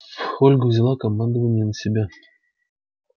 ольга взяла командование на себя